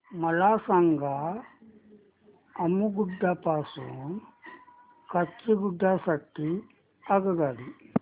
मला सांगा अम्मुगुडा पासून काचीगुडा साठी आगगाडी